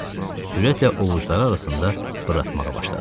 Sürətlə ovucuları arasında fırlatmağa başladı.